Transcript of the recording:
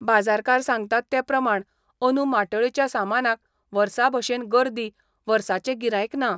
बाजारकार सांगतात ते प्रमाण अंदू माटोळेच्या सामानाक वर्साभशेन गर्दी, वर्साचें गिरायक ना.